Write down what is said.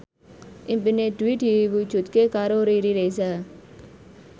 impine Dwi diwujudke karo Riri Reza